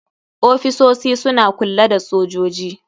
Ofisosi suna kulla da sojoji.